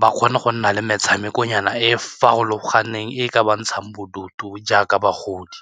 ba kgone go nna le metshamekonyana e e farologaneng e ka ba ntshang bodutu jaaka bagodi.